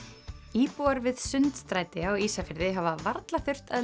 íbúar við Sundstræti á Ísafirði hafa varla þurft að